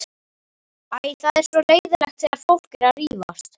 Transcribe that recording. Æ, það er svo leiðinlegt þegar fólk er að rífast.